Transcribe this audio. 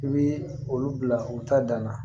I bi olu bila u ta dan na